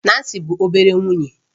Nancy bụ obere nwunye